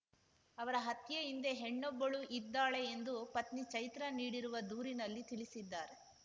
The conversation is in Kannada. ಅವರ ಹತ್ಯೆಹಿಂದೆ ಹೆಣ್ಣೊಬ್ಬಳು ಇದ್ದಾಳೆ ಎಂದು ಪತ್ನಿ ಚೈತ್ರಾ ನೀಡಿರುವ ದೂರಿನಲ್ಲಿ ತಿಳಿಸಿದ್ದಾರೆ